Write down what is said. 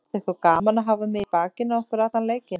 Finnst ykkur gaman að hafa mig í bakinu á ykkur allan leikinn?